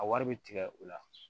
A wari bɛ tigɛ u la